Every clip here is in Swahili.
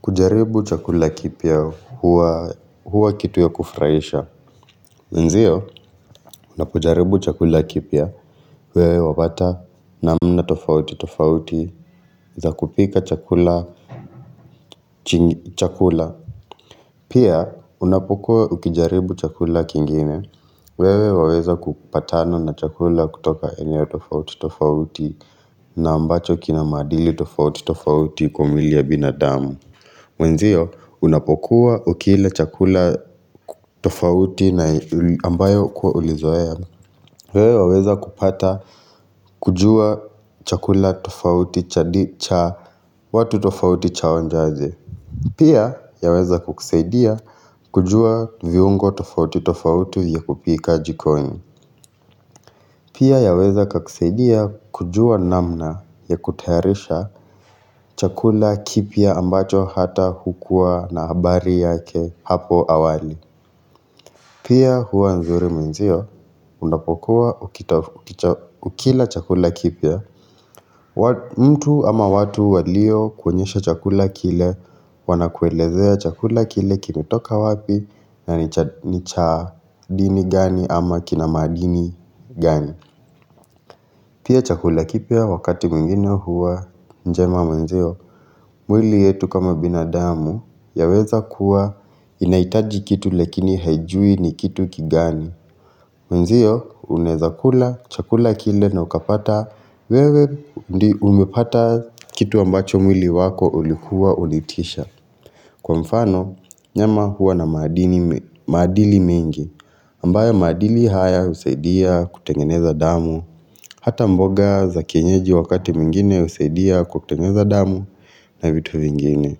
Kujaribu chakula kipia huwa kitu ya kufraisha. Nziyo, unapujaribu chakula kipia, wewe wapata namna tofauti tofauti za kupika chakula. Pia, unapukua ukijaribu chakula kingine, wewe waweza kupatana na chakula kutoka eneo tofauti tofauti na ambacho kinamadili tofauti tofauti kumili ya binadamu. Mwenzio unapokuwa ukila chakula tofauti na ambayo kuwa ulizoaya wewe ya weza kupata kujua chakula tofauti cha watu tofauti chaonja aje Pia ya weza kukuseidia kujua viungo tofauti tofauti ya kupika jikoni Pia yaweza kakuseidia kujua namna ya kutairisha chakula kipia ambacho hata hukua na habari yake hapo awali Pia huwa nzuri menzio unapokuwa ukila chakula kipia mtu ama watu walio kwenyesha chakula kile wana kuelezea chakula kile kilitoka wapi na nicha dini gani ama kinamadini gani Pia chakula kipya wakati mingine huwa njema mwili yetu kama binadamu ya weza kuwa inaitaji kitu lakini haijui ni kitu kigani. Mwenzio uneza kula chakula kile na ukapata wewe umepata kitu ambacho mwili wako ulikuwa ulitisha. Kwa mfano, nyama huwa na madili mingi, ambayo madili haya usaidia kutengeneza damu, hata mboga za kienyeji wakati mingine usaidia kutengeneza damu na vitu mingine.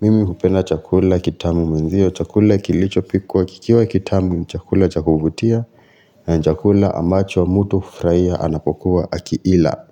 Mimi kupenda chakula kitamu menzio, chakula kilicho pikuwa kikiwa kitamu, chakula chakubutia na chakula ambacho wa mutu kufraia anapokuwa akiila.